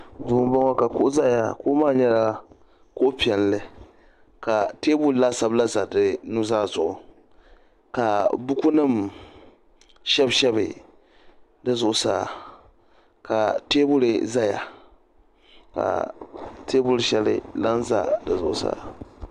duu n bɔŋɔ ka kuɣu ʒɛya kuɣu maa nyɛla kuɣu piɛlli ka teebuli laasabu ʒɛ teebuli maa zuɣu ka buku nim shɛbi shɛbi di zuɣusaa ka teebuli ʒɛya ka teebuli shɛli lahi ʒɛ di zuɣusaa